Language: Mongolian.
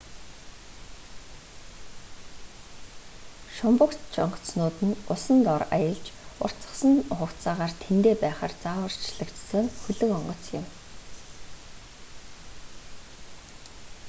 шумбагч онгоцнууд нь усан дор аялж уртасгасан хугацаагаар тэндээ байхаар загварчлагдсан хөлөг онгоц юм